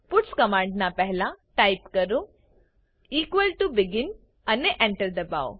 puts command ના પહેલા type કરો ઇક્વલ ટીઓ બેગિન અને Enter દબાઓ